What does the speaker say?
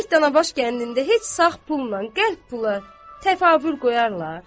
Görək Tanabaş kəndində heç sağ pulla qəlb pula təfavül qoyarlar?